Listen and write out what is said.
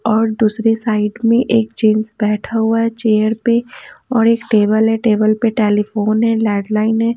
और दूसरे साइड में एक जेंट्स बैठा हुआ है चेयर पे और एक टेबल है टेबल पे टेलीफोन है लेडलाइन है।